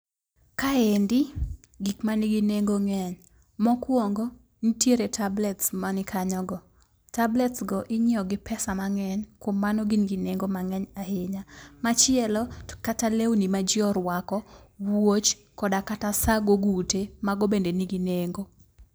Kaendi gik ma nigi nengo ng'eny .Mokwongo nitiere tablets mani kanyo go .Tablets go inyiewo gi pesa mang'eny kuom mano gin gi nengo mang'eny ahinya. Machielo, to kata lewni ma jii orwako ,wuoch , koda kata saa gogute mago bende nigi nengo.